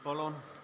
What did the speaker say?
Palun!